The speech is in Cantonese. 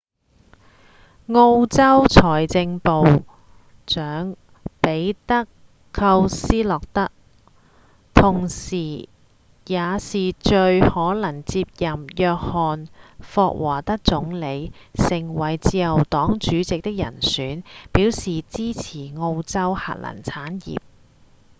澳洲財政部長彼德‧寇斯特洛同時也是最可能接任約翰‧霍華德總理成為自由黨主席的人選表示支持澳洲核能產業